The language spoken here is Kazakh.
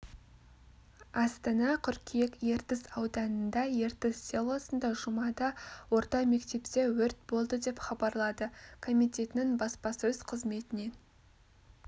астана қыркүйек ертіс ауданында ертіс селосында жұмада орта мектепте өрт болды деп хабарлады комитетінің баспасөз қызметінен